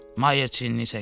Mayer çiyini çəkdi.